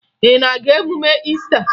Ị na-aga emume Iista?